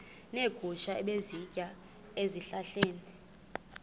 neegusha ebezisitya ezihlahleni